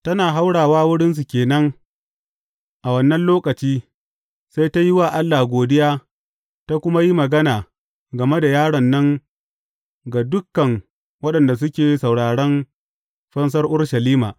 Tana haurawa wurinsu ke nan a wannan lokaci, sai ta yi wa Allah godiya ta kuma yi magana game da yaron nan ga dukan waɗanda suke sauraron fansar Urushalima.